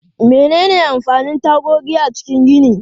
Menene amfanin tagogi a cikin gini?